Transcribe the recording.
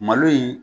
Malo in